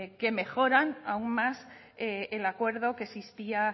que mejoran aún más el acuerdo que existía